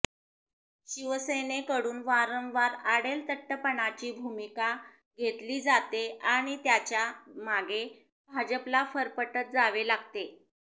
शिवसेनेकडून वारंवार आडेलतट्टपणाची भूमिका घेतली जाते आणि त्याच्या मागे भाजपला फरफटत जावे लागते